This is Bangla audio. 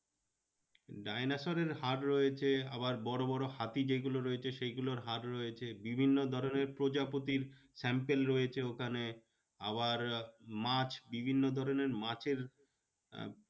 ডাইনোসরের হাড় রয়েছে আবার বড়ো বড়ো হাতি যেগুলোর রয়েছে সেই গুলোর হাড় রয়েছে। বিভিন্ন ধরণের প্রজাপতির sample রয়েছে ওখানে আবার মাছ, বিভিন্ন ধরণের মাছের আহ